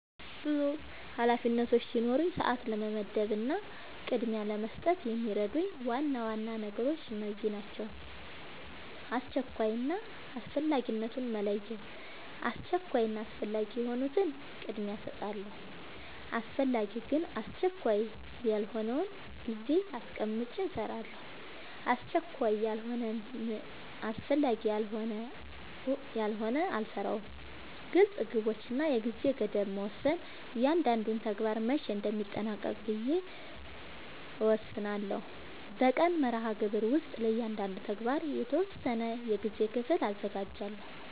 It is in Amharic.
ብዙ ኃላፊነቶች ሲኖሩኝ ሰዓት ለመመደብ እና ቅድሚያ ለመስጠት የሚረዱኝ ዋና ዋና ነገሮች እነዚህ ናቸው :-# አስቸኳይ እና አስፈላጊነትን መለየት:- አስቸኳይ እና አስፈላጊ የሆኑትን ቅድሚያ እሰጣለሁ አስፈላጊ ግን አስቸካይ ያልሆነውን ጊዜ አስቀምጨ እሰራለሁ አስቸካይ ያልሆነና አስፈላጊ ያልሆነ አልሰራውም # ግልፅ ግቦች እና የጊዜ ገደብ መወሰን እያንዳንዱን ተግባር መቼ እንደሚጠናቀቅ ብዬ እወስናለሁ በቀን መርሃግብር ውስጥ ለእያንዳንዱ ተግባር የተወሰነ የጊዜ ክፍል አዘጋጃለሁ